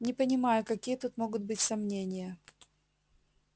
не понимаю какие тут могут быть сомнения